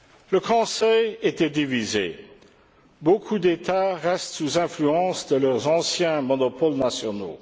Le Conseil était divisé. Beaucoup d'États restent sous influence de leurs anciens monopoles nationaux.